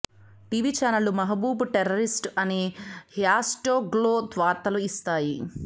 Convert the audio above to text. TV చానెళ్లు Mehbooba terrorist అనే హ్యాష్ట్యాగ్తో వార్తలు ఇస్తాయి